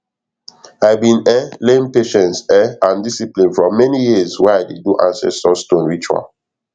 i bin um learn patience um and discipline from many years wey i dey do ancestor stone ritual